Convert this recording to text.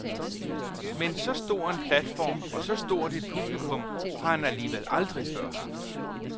Men så stor en platform og så stort et publikum har han alligevel aldrig haft før.